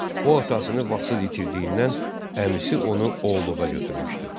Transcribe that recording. O atasını vaxtsız itirdiyindən əmisi onu oğulluğa götürmüşdü.